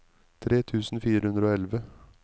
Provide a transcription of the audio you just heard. tre tusen fire hundre og elleve